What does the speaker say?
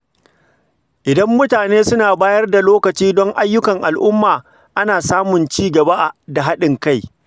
Idan mutane suka bayar da lokaci don ayyukan al’umma, ana samun cigaba da haɗin kai.